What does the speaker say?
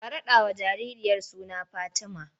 Ka raɗawa jaririyar suna Fatima!